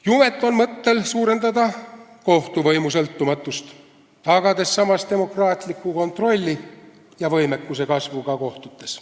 Jumet on mõttel suurendada kohtuvõimu sõltumatust, tagades samas demokraatliku kontrolli ja võimekuse kasvu ka kohtutes.